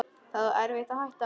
Það var erfitt að hætta.